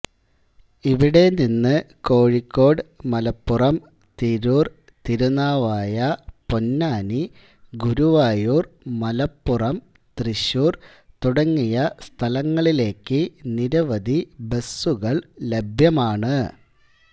ഇവിടെ നിന്ന് കോഴിക്കോട് മലപ്പുറം തിരൂർ തിരുനാവായ പൊന്നാനി ഗുരുവായൂർ മലപ്പുറം തൃശൂർ തുടങ്ങിയ സ്ഥലങ്ങളിലേക്ക് നിരവധി ബസുകൾ ലഭ്യമാണ്